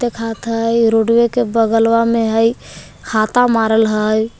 देखात हय रोडवे के बगलवा में हइ हाता मारल हय।